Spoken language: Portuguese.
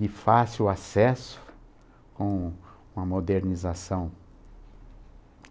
De fácil acesso com uma modernização